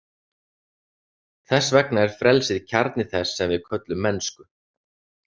Þess vegna er frelsið kjarni þess sem við köllum mennsku.